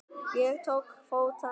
Ég tók til fótanna.